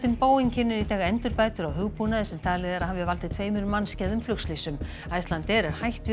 Boeing kynnir í dag endurbætur á hugbúnaði sem talið er að hafi valdið tveimur mannskæðum flugslysum Icelandair er hætt við að